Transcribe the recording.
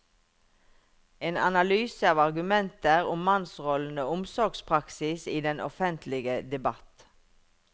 En analyse av argumenter om mannsrollen og omsorgspraksis i den offentlige debatt.